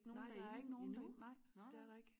Nej der er ikke nogen derinde nej det er der ik